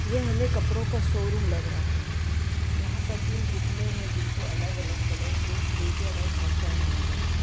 ये हमे कपड़ों का शोरूम लग रहा है यहां पर तीन पुतले हैं जिनको अलग-अलग कलर के ब्लेजर और शर्ट पहनाए गए हैं।